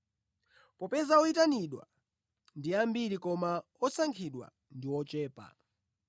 “Popeza oyitanidwa ndi ambiri koma osankhidwa ndi ochepa.”